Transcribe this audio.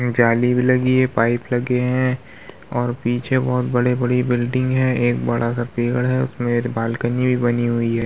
जाली भी लगी है पाइप लगे हैं और पीछे बहुत बड़ी-बड़ी बिल्डिंग है | एक बड़ा-सा पेड़ है उसमें एक बाल्कनी भी बनी हुई है।